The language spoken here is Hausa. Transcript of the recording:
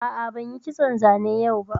A'a, ban yi kitson zane yau ba